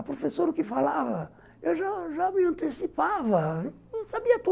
A professora que falava, eu já já me antecipava, sabia tudo.